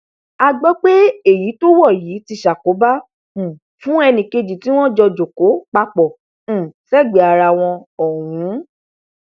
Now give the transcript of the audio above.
a gbọ pé èyí tó wọ yìí ti ṣàkóbá um fún èkejì tí wọn jọ kó papọ um sẹgbẹẹ ara wọn ọhún